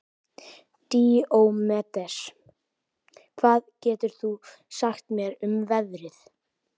Díómedes, hvað geturðu sagt mér um veðrið?